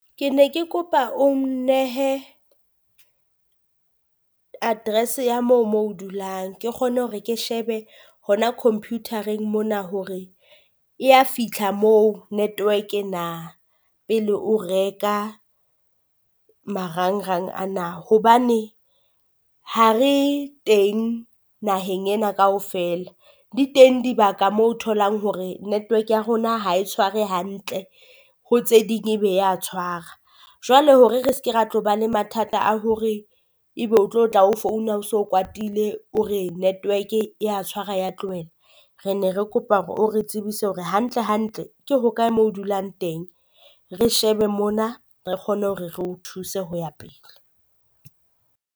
Ke ne ke kopa o nnehe address ya moo moo dulang ke kgone hore ke shebe hona computer-reng mona hore e ya fitlha moo network na pele o reka marangrang ana. Hobane ha re teng naheng ena kaofela, di teng dibaka moo tholang hore network ya rona ha e tshware hantle ho tse ding ebe ya tshwara. Jwale hore re se ke ra tlo ba le mathata a hore ebe o tlo tla founa o so kwatile o re network e ya tshwara ya tlohela. Re ne re kopa hore o re tsebise hore hantle hantle ke hokae moo dulang teng re shebe mona re kgone hore re o thuse ho ya pele.